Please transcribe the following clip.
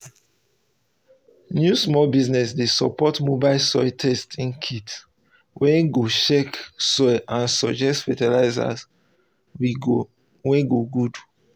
new small business dey support mobile soil testing kit wey go um check soil and suggest fertilizer we go good